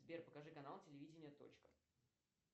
сбер покажи канал телевидение точка